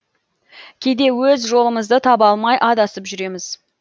кейде өз жолымызды таба алмай адасып жүреміз